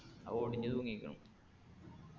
അതൊടിഞ്ഞ് തൂങ്ങീക്കണു